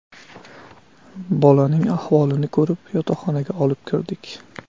Bolaning ahvolini ko‘rib yotoqxonaga olib kirdik.